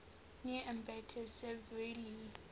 near ambato severely